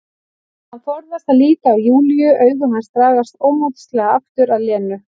Hann forðast að líta á Júlíu, augu hans dragast ómótstæðilega aftur að Lenu.